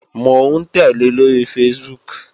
Mò ń tẹ́lẹ̀ lóri Facebook